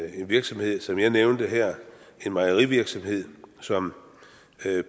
en virksomhed som jeg nævnte her en mejerivirksomhed som